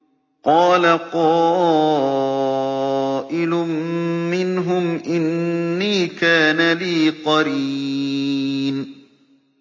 قَالَ قَائِلٌ مِّنْهُمْ إِنِّي كَانَ لِي قَرِينٌ